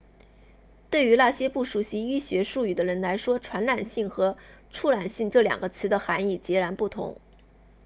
对于那些不熟悉医学术语的人来说传染性和触染性这两个词的含义截然不同